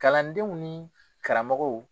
Kalandenw ni karamɔgɔw